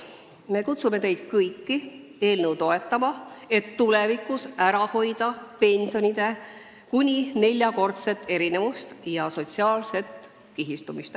Me kutsume teid kõiki eelnõu toetama, et tulevikus ära hoida pensionide kuni neljakordset erinevust ja sotsiaalset kihistumist.